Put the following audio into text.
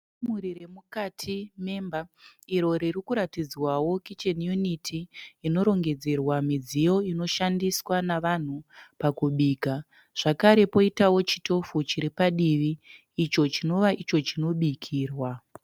Kamuri remukati memba iro riri kuratidzwawo kicheni yuniti inorongedzerwa midziyo inoshandiswa navanhu pakubika. Zvakare poitawo chitofu chiri padivi icho chinova icho chinobikirwa.